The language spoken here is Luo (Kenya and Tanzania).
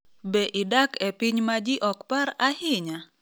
Be idak e piny ma ji ok par ahinya?